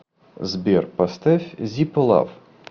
сбер поставь зиппо лав